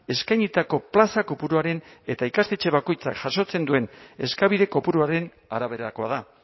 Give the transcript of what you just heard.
eskainitako plaza kopuruaren eta ikastetxe bakoitzak jasotzen duen eskabide kopuruaren araberakoa da